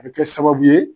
A bɛ kɛ sababu ye